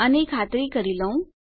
આની ખાતરી કરી લઉં